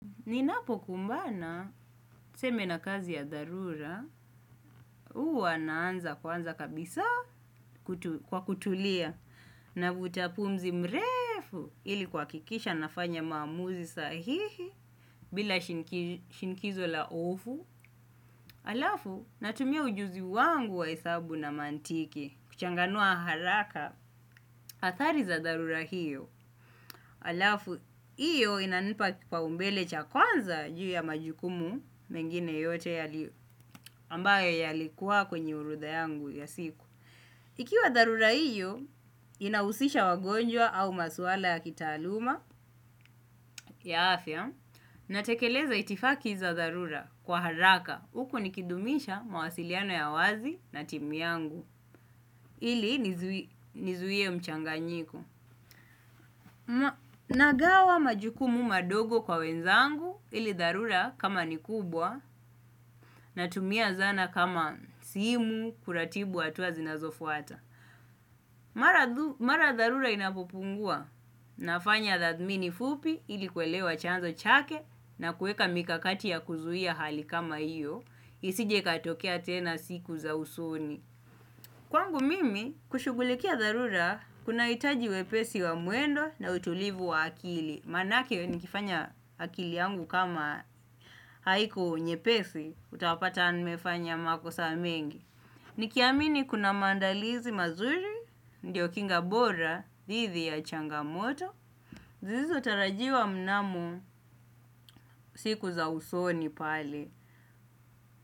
Ninapo kumbana, seme na kazi ya darura, uwa naanza kwanza kabisa kwa kutulia. Navuta pumzi mrefu ili kwa kikisha nafanya mamuzi sahihi bila shinkizo la ofu. Alafu, natumia ujuzi wangu wahesabu na mantiki, kuchanganua haraka, atari za darura hiyo. Alafu, iyo inanipa kipa umbele cha kwanza juu ya majukumu mengine yote ambayo yalikuwa kwenye orodha yangu ya siku. Ikiwa darura iyo, inausisha wagonjwa au maswala ya kitaluma. Ya afya, natekeleza itifaki za darura kwa haraka. Huku nikidumisha mawasiliano ya wazi na timu ili nizuie mchanganyiko. Na gawa majukumu madogo kwa wenzangu ili tharura kama ni kubwa na tumia zana kama simu kuratibu atuwa zinazofuata. Mara tharura inapopungua na fanya dhadmini fupi ili kwelewa chanzo chake na kueka mikakati ya kuzuia hali kama iyo isije ikatokea tena siku za usoni. Kwangu mimi, kushugulikia darura, kuna itaji wepesi wa muendo na utulivu wa akili. Manake nikifanya akili yangu kama haiku nyepesi, utapata nimefanya mako saa mengi. Nikiamini kuna mandalizi mazuri, ndio kinga bora, thithi ya changamoto, zizo tarajiwa mnamo siku za usoni pale.